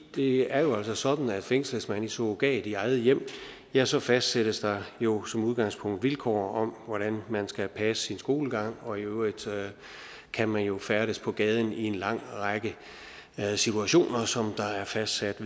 det er jo altså sådan at fængsles man i surrogat i eget hjem ja så fastsættes der jo som udgangspunkt vilkår om hvordan man skal passe sin skolegang og i øvrigt kan man jo færdes på gaden i en lang række situationer som der er fastsat